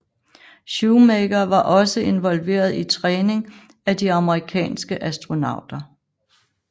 Shoemaker var også involveret i træning af de amerikanske astronauter